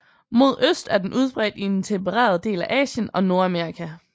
Mod øst er den udbredt i den tempererede del af Asien og Nordamerika